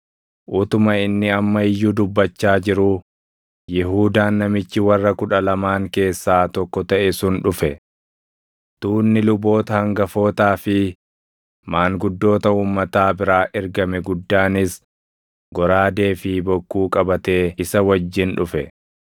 Utuma inni amma iyyuu dubbachaa jiruu, Yihuudaan namichi warra Kudha Lamaan keessaa tokko taʼe sun dhufe. Tuunni luboota hangafootaa fi maanguddoota uummataa biraa ergame guddaanis goraadee fi bokkuu qabatee isa wajjin dhufe.